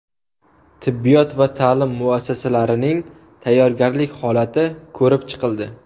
Tibbiyot va ta’lim muassasalarining tayyorgarlik holati ko‘rib chiqildi.